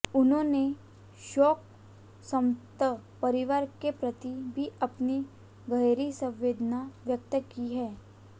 उन्होंने शोक संतप्त परिवार के प्रति भी अपनी गहरी संवेदना व्यक्त की है